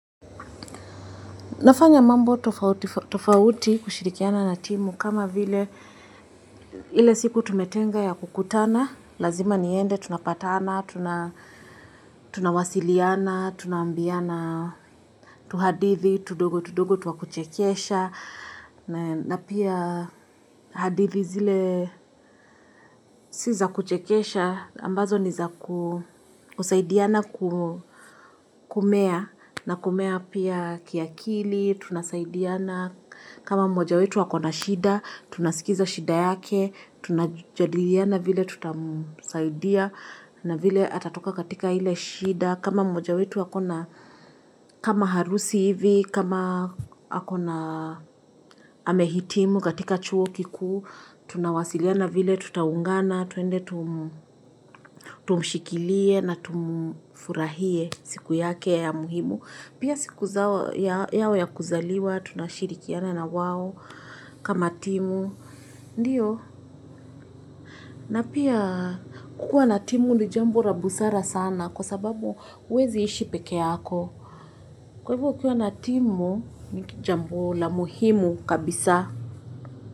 Nafanya mambo tofauti kushirikiana na timu kama vile ile siku tumetenga ya kukutana, lazima niende, tunapatana, tunawasiliana, tunaambiana, tuhadithi, tundogo, tundogo, twa kuchekesha. Na pia hadithi zile si za kuchekesha, ambazo ni za kusaidiana kumea, na kumea pia kiakili, tunasaidiana. Kama moja wetu ako na shida, tunasikiza shida yake, tunajadiliana vile tutamusaidia na vile atatoka katika ile shida. Kama moja wetu ako na kama harusi hivi, kama amehitimu katika chuo kiku, tunawasiliana vile tutaungana, tuende tumushikilie na tumfurahie siku yake ya muhimu. Pia sikuzao yao ya kuzaliwa, tunashirikiana na wawo kama timu, ndiyo. Na pia kukua na timu ni jambo la busara sana kwa sababu huwezi ishi peke yako. Kwa hivyo ukikua na timu ni jambo la muhimu kabisa.